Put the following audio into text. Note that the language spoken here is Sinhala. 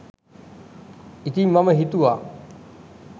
ඉතිං මම හිතුවා